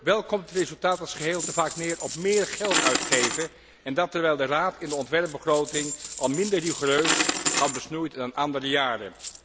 Wel komt het resultaat als geheel te vaak neer op meer geld uitgeven, en dat terwijl de Raad in de ontwerpbegroting al minder rigoureus had besnoeid dan andere jaren.